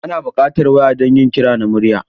Ana buƙatar waya don yin kira na murya.